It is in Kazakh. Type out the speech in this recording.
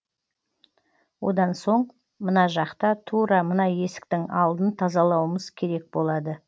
одан соң мына жақта тура мына есіктің алдын тазалауымыз керек болады